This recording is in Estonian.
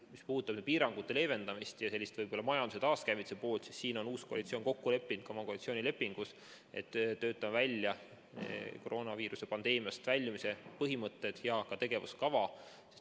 Mis puudutab piirangute leevendamist ja majanduse taaskäivituse poolt, siis siin on uus koalitsioon kokku leppinud ka oma koalitsioonilepingus, et töötame välja koroonaviiruse pandeemiast väljumise põhimõtted ja tegevuskava.